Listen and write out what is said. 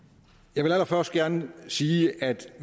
jeg vil allerførst gerne sige at